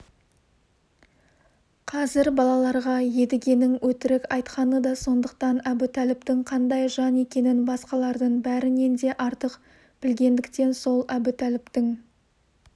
қазір балаларға едігенің өтірік айтқаны да сондықтан әбутәліптің қандай жан екенін басқалардың бәрінен де артық білгендіктен сол әбутәліптің